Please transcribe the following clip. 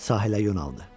Sahilə yonaldı.